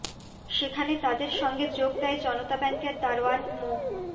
সেখানে তাদের সঙ্গে যোগ দেয় জনতা ব্যাংকের দারোয়ান মো